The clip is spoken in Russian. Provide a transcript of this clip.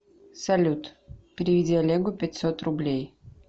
салют переведи олегу пятьсот рублей